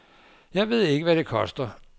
Jeg ved ikke, hvad det koster.